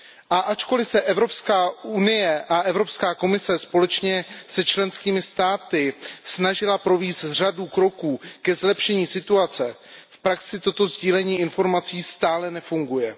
A ačkoliv se Evropská unie a Evropská komise společně se členskými státy snažily provést řadu kroků ke zlepšení situace, v praxi toto sdílení informací stále nefunguje.